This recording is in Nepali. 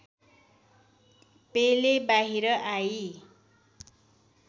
पेले बाहिर आई